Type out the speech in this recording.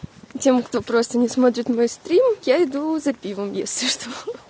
тем кто просто не смотрит мой стрим я иду за пивом если что